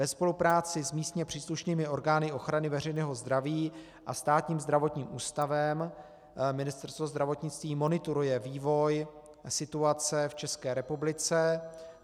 Ve spolupráci s místně příslušnými orgány ochrany veřejného zdraví a Státním zdravotním ústavem Ministerstvo zdravotnictví monitoruje vývoj situace v České republice.